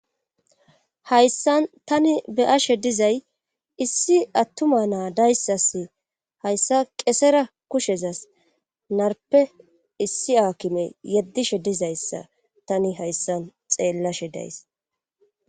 hayssan tani beyashe dizay issi attuma naa dayssas hayssa qesera kushezas narpe issi aakime yeddishe dizayssa tani hayssan xeellashe days